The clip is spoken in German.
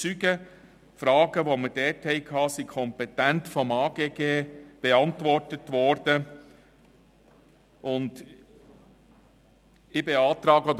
Die Fragen, die wir dort stellten, wurden vom Amt für Grundstücke und Gebäude (AGG) kompetent beantwortet.